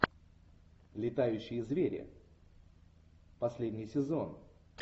летающие звери последний сезон